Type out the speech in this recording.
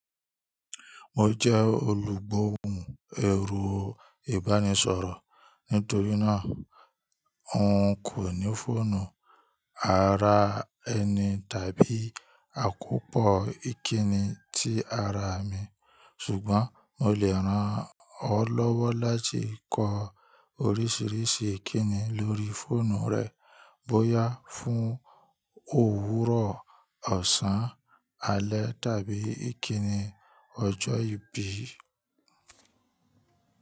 Mo jẹ́ olùgbóhùn ẹ̀rọ ìbánisọ̀rọ̀. Nítorí náà, n kò ní fóònù ara ẹni tàbí àkópọ̀ ìkíni tí ara mi, ṣùgbọ́n mo lè ràn ọ́ lọ́wọ́ láti kọ oríṣiríṣi ìkíni lórí fóònù rẹ bóyá fún òwúrọ̀, ọ̀sán, alẹ́ tàbí ìkíni ọjọ́ ìbí.